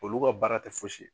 Olu ka baara tɛ fosi ye.